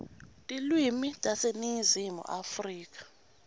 tilwimi taseningizimu afrika